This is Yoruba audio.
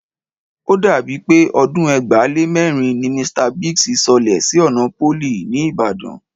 O dàbí pé ọdún ẹgbàá lé mẹ́rin ni Mr Biggs sọlẹ̀ sí ọ̀nà Pólì, ní Ìbàdàn